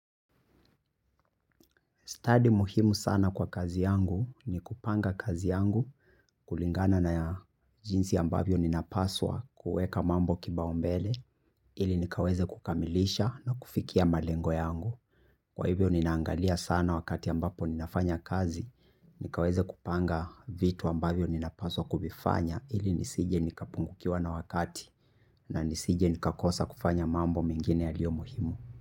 Studi muhimu sana kwa kazi yangu ni kupanga kazi yangu kulingana na ya jinsi ambavyo ninapaswa kueka mambo kipao mbele ili nikaweze kukamilisha na kufikia malengo yangu. Kwa hivyo ninaangalia sana wakati ambapo ninafanya kazi, nikaweze kupanga vitu ambavyo ninapaswa kuvifanya ili nisije nikapungukiwa na wakati na nisije nikakosa kufanya mambo mingine yalio muhimu.